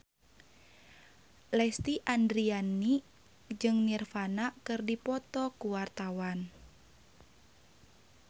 Lesti Andryani jeung Nirvana keur dipoto ku wartawan